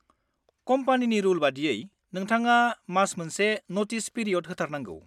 कम्पानिनि रुल बायदियै, नोंथाङा मास मोनसे नटिस पिरिय'ड होथारनांगौ।